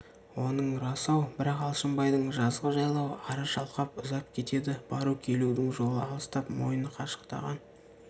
оның рас-ау бірақ алшынбайдың жазғы жайлауы ары шалқып ұзап кетеді бару келудің жолы алыстап мойны қашықтаған